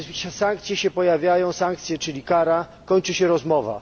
Sankcje się pojawiają sankcje czyli kara i kończy się rozmowa.